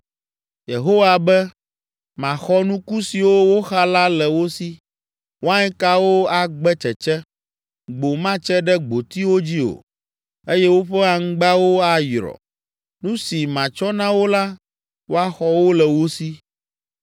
Yehowa be, “Maxɔ nuku siwo woxa la le wo si. Wainkawo agbe tsetse, gbo matse ɖe gbotiwo dzi o eye woƒe aŋgbawo ayrɔ. Nu si matsɔ na wo la woaxɔ wo le wo si.”